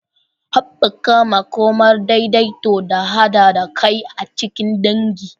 Haɓaka makomar daidaito da haɗa kai a cikin dangi.